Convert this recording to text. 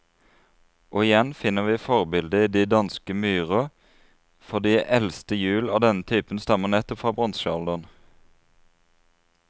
Og igjen finner vi forbildet i de danske myrer, for de eldste hjul av denne type stammer nettopp fra bronsealderen.